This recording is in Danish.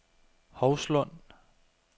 Hovslund